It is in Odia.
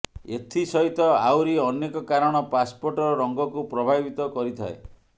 ଏଥି ସହିତ ଆହୁରି ଅନେକ କାରଣ ପାସପୋର୍ଟର ରଙ୍ଗକୁ ପ୍ରଭାବିତ କରିଥାଏ